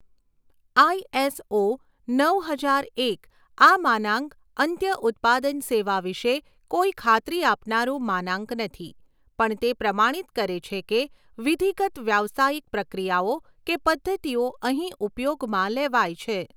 આઈ S O નવ હજાર એક આ માનાંક અંત્ય ઉત્પાદન સેવા વિષે કોઈ ખાત્રી આપનારું માનાંક નથી પણ તે પ્રમાણિત કરે છે કે વિધિગત વ્યાવસાયિક પ્રક્રિયાઓ કે પદ્ધતિઓ અહીં ઉપયોગમાં લેવાય છે.